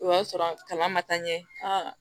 O y'a sɔrɔ kaba ma taa ɲɛ a